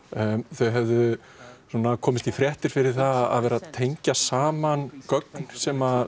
þau höfðu komist í fréttir fyrir að tengja saman gögn sem